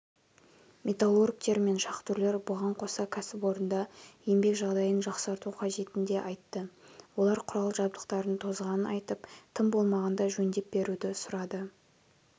металлургтер мен шахтерлер бұған қоса кәсіпорында еңбек жағдайын жақсарту қажетін де айтты олар құрал-жабдықтардың тозғанын айтып тым болмағанда жөндеп беруді сұрады